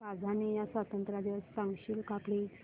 Tanzania स्वतंत्रता दिवस सांगशील का प्लीज